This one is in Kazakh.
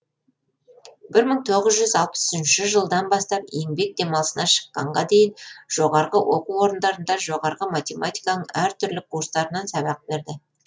бір мың тоғыз жүз алпыс үшінші жылдан бастап еңбек демалысына шыққанға дейін жоғарғы оқу орындарында жоғарғы математиканың әр түрлі курстарынан сабақ берді